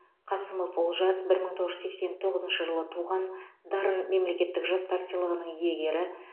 қасымов олжас бір мың тоғыз жүз сексен тоғызыншы жылы туған дарын мемлекеттік жастар сыйлығының иегері